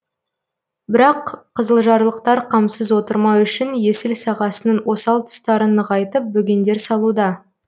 бірақ қызылжарлықтар қамсыз отырмау үшін есіл сағасының осал тұстарын нығайтып бөгендер салуда